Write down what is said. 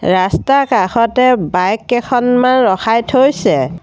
ৰাস্তাৰ কাষতে বাইক কেইখনমান ৰখাই থৈছে।